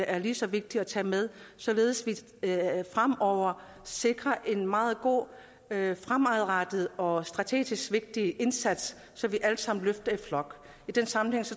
er lige så vigtigt at tage med således at vi fremover sikrer en meget god fremadrettet og strategisk vigtig indsats så vi alle sammen løfter i flok i den sammenhæng